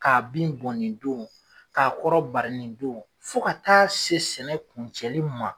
K'a bin bɔn nin don k'a kɔrɔbali nin don fo ka taa se sɛnɛ kuncɛli ma.